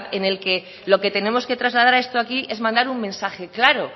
en el que lo que tenemos que trasladar a esto aquí es mandar un mensaje claro